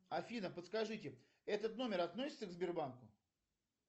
афина подскажите этот номер относится к сбербанку